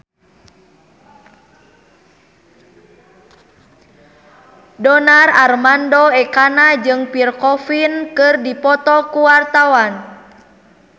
Donar Armando Ekana jeung Pierre Coffin keur dipoto ku wartawan